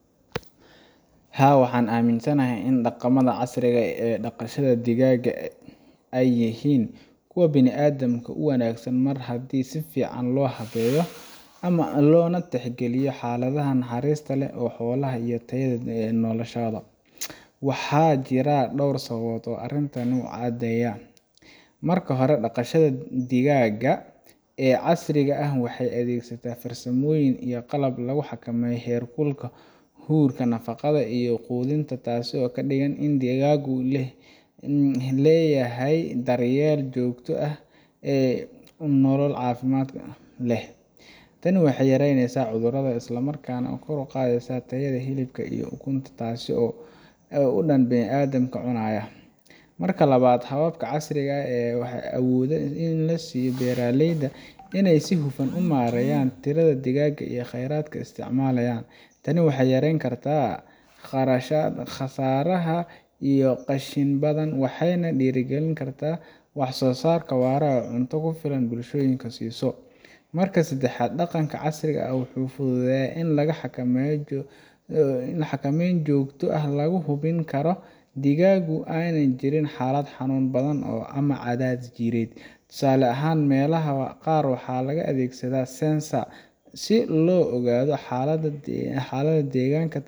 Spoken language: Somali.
Haa, waxaan aaminsanahay in dhaqamada casriga ah ee dhaqashada digaaga ay yihiin kuwo bini’aadamka u wanaagsan mar haddii si fiican loo habeeyo, lana tixgeliyo xaaladaha naxariista leh ee xoolaha iyo tayada noloshooda. Waxaa jira dhowr sababood oo arrintan u caddaynaya: Marka hore, dhaqashada digaaga ee casriga ah waxay adeegsataa farsamooyin iyo qalab lagu xakameeyo heerkulka, huurka, nadaafadda iyo quudinta, taas oo ka dhigan in digaagu helayaan daryeel joogto ah iyo nolol caafimaad leh. Tani waxay yaraynaysaa cudurrada isla markaana kor u qaadaysaa tayada hilibka iyo ukunta, taasoo u dan ah bini’aadamka cunaya. Marka labaad, hababka casriga ah waxay awood u siinayaan beeraleyda inay si hufan u maareeyaan tirada digaaga iyo kheyraadka ay isticmaalayaan. Tani waxay yarayn kartaa khasaaraha iyo qashin badan, waxayna dhiirrigelin kartaa wax-soo-saar waara oo cunto ku filan bulshooyinka siiso. Marka saddexaad, dhaqanka casriga ah wuxuu fududeeyaa in la helo xakameyn joogto ah oo lagu hubin karo in digaagu aanay ku jirin xaalad xanuun badan ama cadaadis jireed. Tusaale ahaan, meelaha qaar waxaa la adeegsadaa sensor si loo ogaado xaaladda deegaanka,